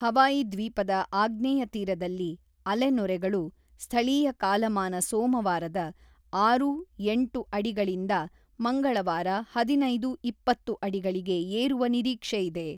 Hawaii ದ್ವೀಪದ ಆಗ್ನೇಯ ತೀರದಲ್ಲಿ ಅಲೆನೊರೆಗಳು ಸ್ಥಳೀಯ ಕಾಲಮಾನ ಸೋಮವಾರದ ಆರು-ಎಂಟು ಅಡಿಗಳಿಂದ ಮಂಗಳವಾರ ಹದಿನೈದು-ಇಪ್ಪತ್ತು ಅಡಿಗಳಿಗೆ ಏರುವ ನಿರೀಕ್ಷೆಯಿದೆ.